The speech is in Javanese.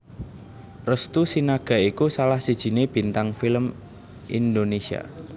Restu Sinaga iku salah sijiné bintang film Indonesia